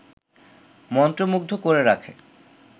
মন্ত্রমুগ্ধ করে রাখে